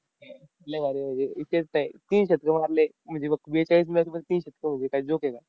लई भारी, म्हणजे विषयच नाही. तीन शतकं मारले. म्हणजे बघ, बेचाळीस match मध्ये तीन शतकं म्हंजे काय joke आहे का?